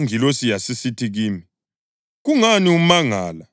Ingilosi yasisithi kimi, “Kungani umangala?